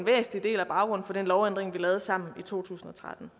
væsentlig del af baggrunden for den lovændring vi lavede sammen i to tusind og tretten